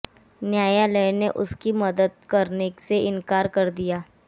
न्यायालय ने उसकी मदद करने से इनकार कर दिया